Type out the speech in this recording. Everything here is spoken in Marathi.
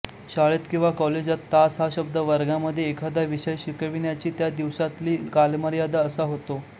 शाळेत किंवा कॉलेजात तास हा शब्द वर्गामध्ये एखादा विषय शिकविण्याची त्या दिवसातली कालमर्यादा असा होतो